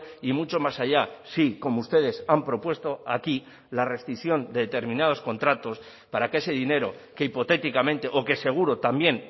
y mucho más allá sí como ustedes han propuesto aquí la rescisión de determinados contratos para que ese dinero que hipotéticamente o que seguro también